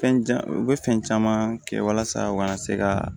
Fɛn jan u bɛ fɛn caman kɛ walasa u ka na se ka